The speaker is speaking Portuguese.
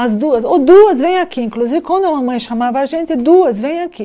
As duas, ô duas vem aqui, inclusive quando a mamãe chamava a gente, duas vem aqui.